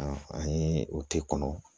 an ye o k'i kɔnɔ